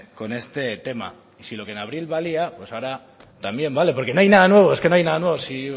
con este tema si lo que en abril valía pues ahora también vale porque no hay nada nuevo es que no hay nada nuevo si